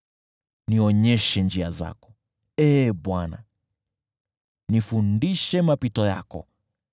Nionyeshe njia zako, Ee Bwana , nifundishe mapito yako,